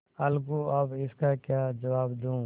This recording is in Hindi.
अलगूअब इसका क्या जवाब दूँ